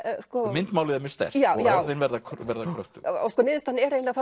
myndmálið er mjög sterkt og orðin verða verða kröftug sko niðurstaðan er eiginlega